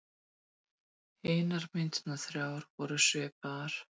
Hinar myndirnar þrjár voru svipaðar.